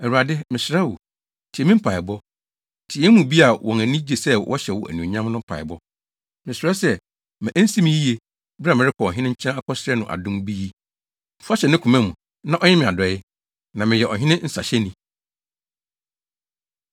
Awurade, mesrɛ wo, tie me mpaebɔ. Tie yɛn mu bi a wɔn ani gye sɛ wɔhyɛ wo anuonyam no mpaebɔ. Mesrɛ sɛ, ma ensi me yiye, bere a merekɔ ɔhene nkyɛn akɔsrɛ no adom bi yi. Fa hyɛ ne koma mu, na ɔnyɛ me adɔe.” Na meyɛ ɔhene nsahyɛni.